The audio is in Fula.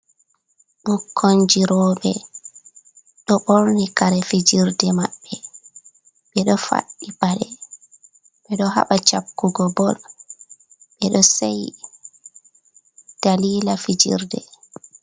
Ɓukonji robe ɗo borni kare fijirde maɓɓe, ɓe ɗo faddi paɗe, ɓedo haɓa cappugo bol, ɓedo se’yi dalila fijirde.